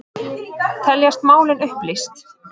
Teljast málin upplýst